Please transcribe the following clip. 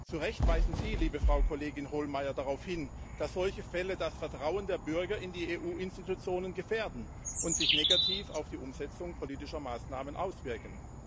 Zu Recht weisen Sie, liebe Frau Kollegin Hohlmeier, daraufhin, dass solche Fälle das Vertrauen der Bürger in die EU Institutionen gefährden und sich negativ auf die Umsetzung politischer Maßnahmen auswirken.